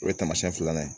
O ye taamasiyɛn filanan ye